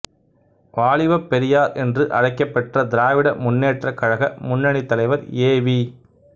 வாலிபப் பெரியார் என்று அழைக்கப்பெற்ற திராவிட முன்னேற்றக் கழக முன்னணித் தலைவர் ஏ வி